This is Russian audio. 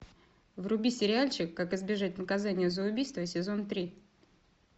вруби сериальчик как избежать наказания за убийство сезон три